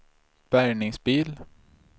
bärgningsbil